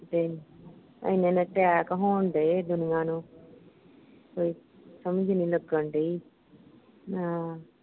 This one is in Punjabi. ਤੇ ਇੰਨੇ ਇੰਨੇ ਅਟੈਕ ਹੋਣ ਢੇ ਦੁਨੀਆਂ ਨੂੰ ਕੋਈ ਸਮਝ ਨੀ ਲੱਗਣ ਢਈ ਆਹ